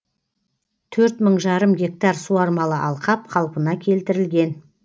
төрт мың жарым гектар суармалы алқап қалпына келтірілген